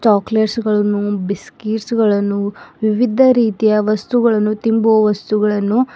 chocolates ಗಳನ್ನು biscuit ಗಳನ್ನು ವಿವಿಧ ರೀತಿಯ ವಸ್ತುಗಳನ್ನು ತಿಂಭುವ ವಸ್ತುಗಳನ್ನು --